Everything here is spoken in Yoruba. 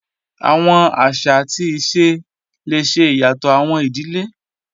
Awọn aṣa ati ise le ṣe iyatọ awọn idile